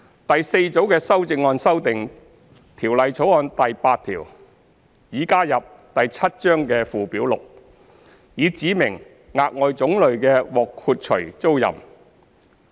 第四組的修正案修訂《條例草案》第8條擬加入第7章的附表 6， 以指明額外種類的獲豁除租賃。